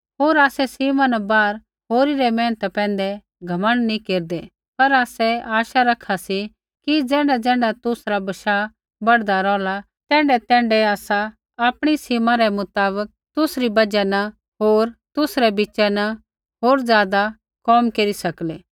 होर आसै सीमा न बाहर होरी रै मेहनता पैंधै घमण्ड नी केरदै पर आसै आशा रखा सी कि ज़ैण्ढाज़ैण्ढा तुसरा बशाह बढ़दा रोहला तैण्ढैतैण्ढै आसा आपणी सीमा रै मुताबक तुसरी बजहा न होर तुसरै बिच़ा न होर ज़ादा कोम केरी सकलै